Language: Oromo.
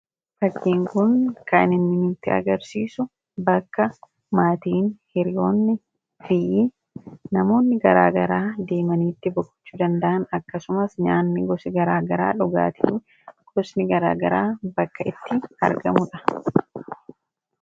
Fakkiin kun inni nutti agarsiisu bakka maatiin, hiriyoonnii fi namoonni garaagaraa itti boqochuu danda'an akkasumas nyaata gosa garaagaraa, dhugaatiin garaagaraa bakka itti argamuudha.